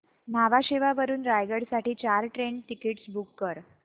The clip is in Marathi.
न्हावा शेवा वरून रायगड साठी चार ट्रेन टिकीट्स बुक कर